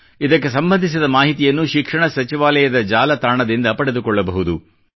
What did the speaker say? ಇದಕ್ಕೆ ಸಂಬಂಧಿಸಿ ಮಾಹಿತಿ ಶಿಕ್ಷಣ ಸಚಿವಾಲಯದ ಜಾಲತಾಣದಲ್ಲಿ ಪಡೆದುಕೊಳ್ಳಬಹುದು